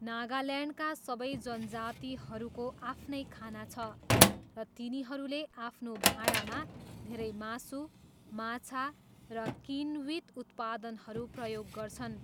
नागाल्यान्डका सबै जनजातिहरूको आफ्नै खाना छ, र तिनीहरूले आफ्नो भाँडामा धेरै मासु, माछा र किण्वित उत्पादनहरू प्रयोग गर्छन्।